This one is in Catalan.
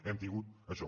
hem tingut això